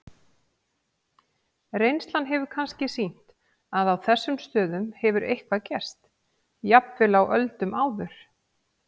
Reynslan hefur kannski sýnt að á þessum stöðum hefur eitthvað gerst, jafnvel á öldum áður.